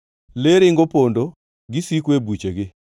Le ringo pondo; gisiko e buchegi.